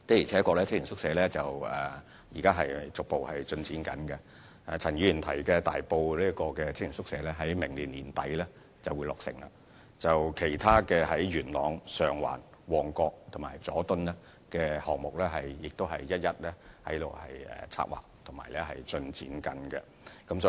青年宿舍現時正逐步取得進展，而陳議員提及的大埔宿舍亦將於明年年底落成，其他在元朗、上環、旺角和佐敦的項目也正在策劃和進展階段。